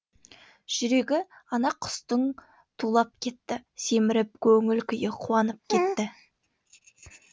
жүрегі ана құстың тулап кетті семіріп көңіл күйі қуанып кетті